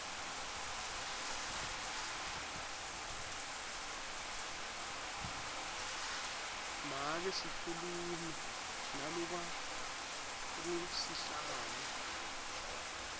make sikhulumi nalokangusihlalo